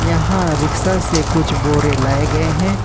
यहां रिक्शा से कुछ बोरे लाए गए हैं।